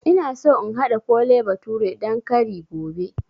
Ina so in haɗa Kole bathure dan kari gobe